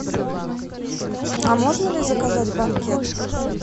а можно ли заказать банкет